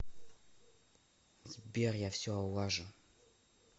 сбер я все улажу